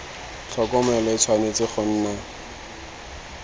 tlhokomelo e tshwanetse go nna